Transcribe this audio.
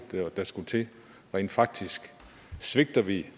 der skulle til rent faktisk svigter vi